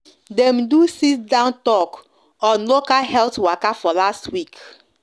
dem do sit-down sit-down talk on local health waka for last week